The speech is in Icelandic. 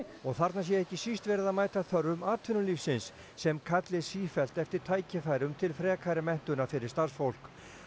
og þarna sé ekki síst verið að mæta þörfum atvinnulífsins sem kalli sífellt eftir tækifærum til frekari menntunar fyrir starfsfólk